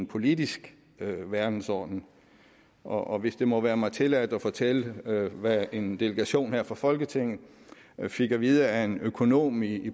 politisk verdensorden og hvis det må være mig tilladt vil jeg fortælle hvad en delegation her fra folketinget fik at vide af en økonom i